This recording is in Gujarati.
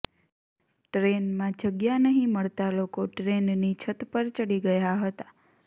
ટ્રેનમાં જગ્યા નહીં મળતાં લોકો ટ્રેનની છત પર ચડી ગયા હતા